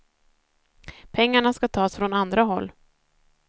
Pengarna ska tas från andra håll.